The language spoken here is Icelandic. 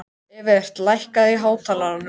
Evert, lækkaðu í hátalaranum.